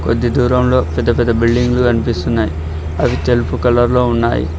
కొద్ది దూరంలో పెద్ద పెద్ద బిల్డింగ్ లు కన్పిస్తున్నాయి అవి తెలుపు కలర్ లో ఉన్నాయి.